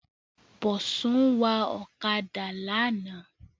Bọ̀sún wa ọ̀kadà lánàá